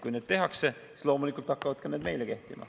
Kui need tehakse, siis loomulikult hakkavad need ka meile kehtima.